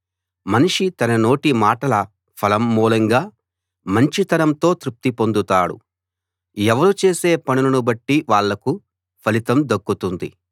మనిషి తన నోటి మాటల ఫలం మూలంగా మంచితనంతో తృప్తి పొందుతాడు ఎవరు చేసే పనులను బట్టి వాళ్ళకు ఫలితం దక్కుతుంది